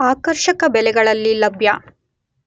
ಆಕರ್ಷಕ ಬೆಲೆಗಳಲ್ಲಿ ಲಭ್ಯ.